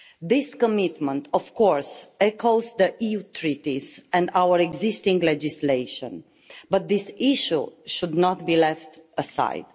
This commitment of course echoes the EU Treaties and our existing legislation but this issue should not be left aside.